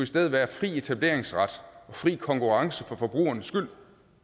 stedet være fri etableringsret og fri konkurrence for forbrugernes skyld